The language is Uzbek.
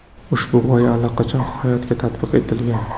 Ushbu g‘oya allaqachon hayotga tatbiq etilgan.